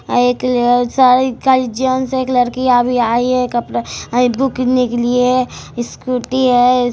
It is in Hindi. एक साइकल जेन्ट्स एक लड़की अभी आई है एक अपना आइब्रो के लिए स्कूटी है।